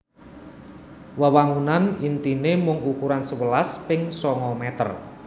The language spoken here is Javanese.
Wewangunan intine mung ukuran sewelas ping sanga meter